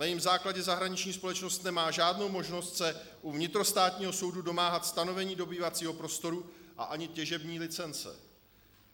Na jejím základě zahraničním společnost nemá žádnou možnost se u vnitrostátního soudu domáhat stanovení dobývacího prostoru a ani těžební licence.